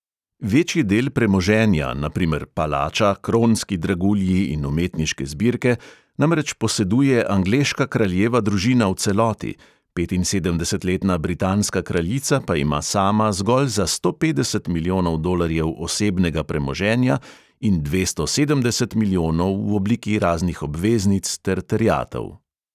Večji del premoženja, na primer palača, kronski dragulji in umetniške zbirke, namreč poseduje angleška kraljeva družina v celoti, petinsedemdesetletna britanska kraljica pa ima sama zgolj za sto petdeset milijonov dolarjev osebnega premoženja in dvesto sedemdeset milijonov v obliki raznih obveznic ter terjatev.